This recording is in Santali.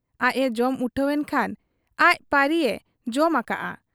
ᱟᱡ ᱮ ᱡᱚᱢ ᱩᱴᱷᱟᱹᱣᱮᱱ ᱠᱷᱟᱱ ᱟᱡ ᱯᱟᱹᱨᱤᱭᱮ ᱡᱚᱢ ᱟᱠᱟᱜ ᱟ ᱾